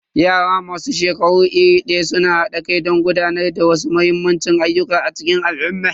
Yara masu shekaru iri daya suna hada kai don gudanar da wasu muhimman ayyuka a cikin al'umma.